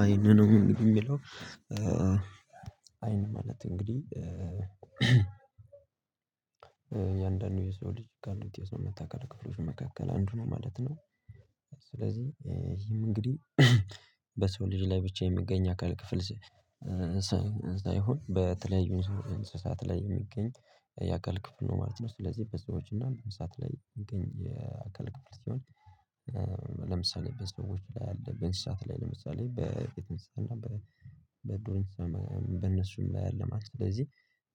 አይን ነው የሚለው አይን ማለት እንግዲህ እያንዳንዱ የሰው ልጅ ካሉትየሰውነት አካላት ክፍሎች መካከል አንዱ ነው ማለት ነው። ስለዚህ ይሄም እንግዲህ በሰው ልጅ ላይ ብቻ የሚገኝ አካል ክፍል ሳይሆነ በተለዩ እንስሳት ላይ የሚገኝ የአካል ክፍል ነው ማለት ነው። ስለዚህ በሰዎች እና በእንስሳት እንዲሁም ለምሳሌ በሰዎች ላይ አለ በንሰሳት ላይ ለምሳሌ በቤት እንሰሳ እና በዱር እንሰሳ በእነሱም ላይ አለ ማለት ነው። ስለዚህ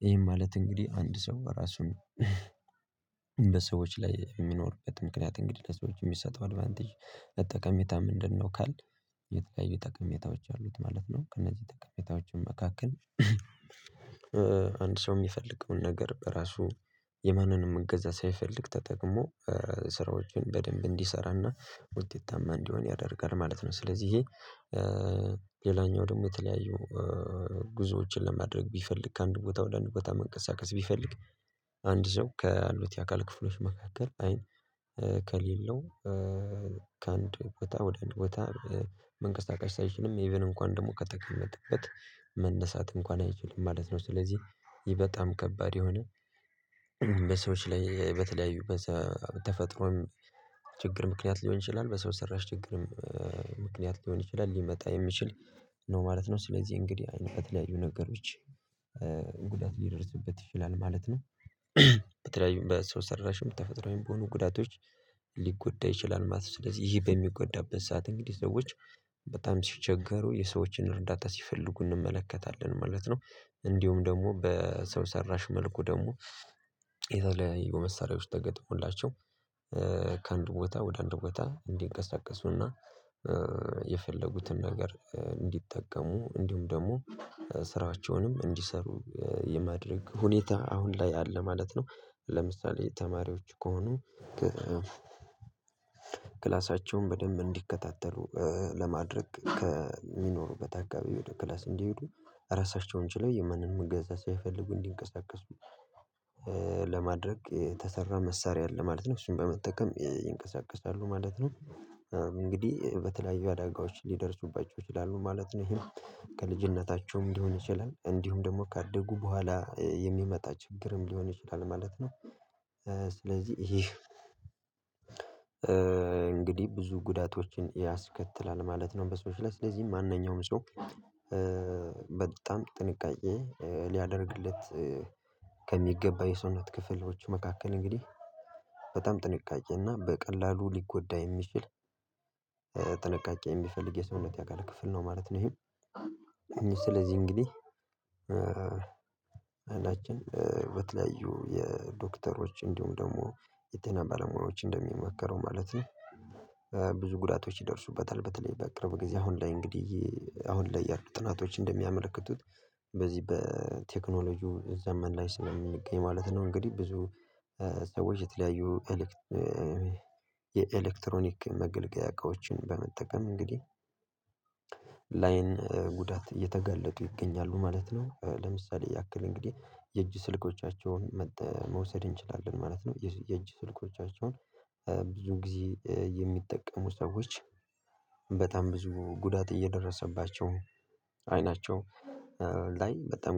ይህም ማለት እንግዲህ አንድ ሰው ራሱን እንደ ሰዎች ላይ የሚኖርበት ምክንያት እንግዲህ ልሰው ልጀ የሚሰጠው አድቫንቴጅ ጠቀሜታ ምንድነው? ካልን የተለያዩ ጠቀሜታዎች አሉት ማለት ነው። ከእነዚህ ጠቀሜታዎችም መካከል አንድ ሰው የሚፈልገውን ነገር ራሱ የማንንም እገዛ ሳይፈልግ ተጠቅሞ ስራዎችን በደንብ እንዲሰራና ውጤታማ እንዲሆን ያደርጋል ማለት ነው። ስለዚህ ሌላኛው ደግሞ የተለያዩ ጉዞዎችን ለማድረግ ቢፈልግ ከአንድ ቦታ ወደ አንድ ቦታ መንቀሳቀስ ቢፈልግ አንድ ሰው ካሉት የአካል ክፍሎች መካከል አይን ከሌለው ከአንድ ቦታ ወደ አንድ ቦታ መንቀሳቀስ ሳይችልም ኢቭን እንኳን ደግሞ ከተቀመጠበት መነሳት እንኳን አይችልም ማለት ነው። ስለዚህ ይህ በጣም ከባድ የሆነ በሰዎች ላይ በተለያዩ በተፈጥሮን ችግር ምክንያት ሊሆን ይችላል በሰው ሰራሽ ችግርም ምክንያት ሊሆን ይችላል ሊመጣ የሚችል ነው ማለት ነው። ስለዚህ እንግዲህ በተለያዩ ነገሮች ጉዳት ሊደርስበት ይችላል ማለት ነው። በተለይም በሰው ሰራሽም ተፈጥሮአዊም በሆኑ ጉዳቶች ሊጎዳ ይችላል ማለት ነው። ስለዚህ ይሄ በሚጎዳበት ሰዓት እንግዲህ ሰዎች በጣም ሲቸገሩ የሰዎችን እርዳታ ሲፈልጉ እንመለከታለን ማለት ነው። እንዲሁም ደግሞ በሰው ሰራሽ መልኩ ደግሞ የተለያዩ መሳሪያዎች ተገጥሞላቸው ከአንድ ቦታ ወደ አንድ ቦታ እንዲንቀሳቀሱና የፈለጉትን ነገር እንዲጠቀሙ እንዲሁም ደግሞ ስራቸውንም እንዲሰሩ የማድረግ ሁኔታ አሁን ላይ አለ ማለት ነው። ለምሳሌ ተማሪዎች ከሆኑ ክላሳቸውን በደንብ እንዲከታተሉ ለማድረግ ከሚኖሩበት አካባቢ ወደ ክላስ እንዲሄዱ ራሳቸውን ችለው የማንንም እገዛ ሳይፈልጉ እንዲንቀሳቀሱ ለማድረግ ተሰራ መሳሪያ አለ ማለት ነው። እሱን በመጠቀም ይንቀሳቀሳሉ ማለት ነው። እንግዲህ በተለያዩ አዳጋዎች ሊደርሱባቸው ይችላሉ ማለት ነው። ይሄን ከልጅነታቸውም ሊሆን ይችላል እንዲሁም ደግሞ ካደጉ በኋላ የሚመጣ ችግርም ሊሆን ይችላል ማለት ነው። ስለዚህ ይሄ እንግዲህ ብዙ ጉዳቶችን ያስከትላል ማለት ነው። በሰዎች ላይ ስለዚህ ማንኛውም ሰው በጣም ጥንቃቄ ሊያደርግለት ከሚገባ የሰውነት ክፍሎች መካከል እንግዲህ በጣም ጥንቃቄ እና በቀላሉ ሊጎዳ የሚችል ጥንቃቄ የሚፈልግ የሰውነት አካል ክፍል ነው ማለት ነው። ይሄ ስለዚህ እንግዲህ አይናችን በተለያዩ የዶክተሮች እንዲሁም ደግሞ የጤና ባለሙያዎች እንደሚመከረው ማለት ነው። ብዙ ጉዳቶች ይደርሱበታል በተለይ በቅርብ ጊዜ አሁን ላይ እንግዲህ አሁን ላይ ያሉ ጥናቶች እንደሚያመለክቱት በዚህ በቴክኖሎጂው ዘመን ላይ ስለሚገኝ ማለት ነው እንግዲህ ብዙ ሰዎች የተለያዩ የኤሌክትሮኒክ መገልገያዎችን በመጠቀም እንግዲህ ላይን ጉዳት እየተጋለጡ ይገኛሉ ማለት ነው። ለምሳሌ ያክል እንግዲህ የእጅ ስልኮቻቸውን መውሰድ እንችላለን ማለት ነው። የእጅ ስልኮቻቸውን ብዙ ጊዜ የሚጠቀሙ ሰዎች በጣም ብዙ ጉዳት እየደረሰባቸው አይናቸው ላይ በጣም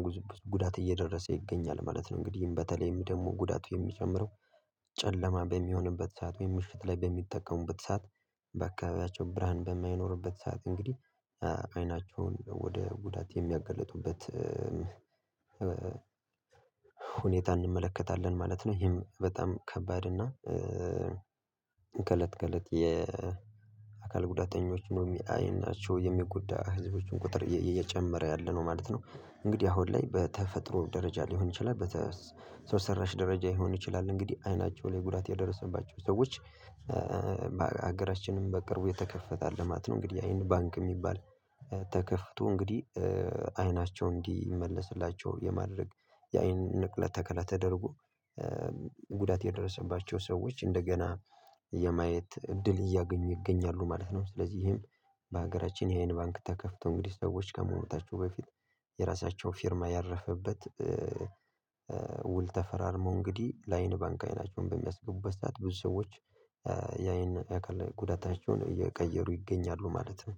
ጉዳት እየደረሰ ይገኛል ማለት ነው። እንግዲህ በተለይም ደግሞ ጉዳቱ የሚጨምረው ጨለማ በሚሆንበት ሰዓት ወይም ምሽት ላይ በሚጠቀሙበት ሰዓት በአካባቢያቸው ብርሃን በማይኖርበት ሰዓት እንግዲህ አይናቸውን ወደ ጉዳት የሚያጋለጡበት ሁኔታ እንመለከታለን ማለት ነው። ይሄም በጣም ከባድ እና ከእለት ከእለት የአካል ጉዳተኞች ነው አይናቸው የሚጎዳ ህዝቦችን ቁጥር እየጨመረ ያለ ነው ማለት ነው። እንግዲህ አሁን ላይ በተፈጥሮ ደረጃ ሊሆን ይችላል ሰው ሰራሽ ደረጃ ሊሆን ይችላል። እንግዲህ አይናቸው ላይ ጉዳት ያደረሰባቸው ሰዎች በሀገራችንም በቅርቡ የተከፈተ ልማት ነው እንግዲህ የአይን ባንክ የሚባል ተከፍቶ እንግዲህ አይናቸው እንዲመለስላቸው የማድረግ የአይን ንቅለ ተከለ ተደርጎ ጉዳት የደረሰባቸው ሰዎች እንደገና የማየት እድል እያገኙ ይገኛሉ ማለት ነው። ስለዚህም በሀገራችን የአይን ባንክ ተከፍቶ እንግዲህ ሰዎች ከመሞታቸው በፊት የራሳቸውን ፊርማ ያረፈበት ውል ተፈራርመው እንግዲህ ላይን ባንክ አይናቸውን በሚያስገቡበት ሰዓት ብዙ ሰዎች ያይን የአካል ጉዳታቸውን እየቀየሩ ይገኛሉ ማለት ነው